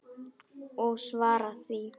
Og svara því.